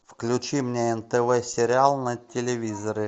включи мне нтв сериал на телевизоре